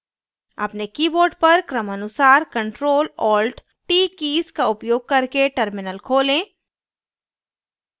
अपने keyboard पर क्रमानुसार ctrl + alt + t keys keys का उपयोग करके terminal खोलें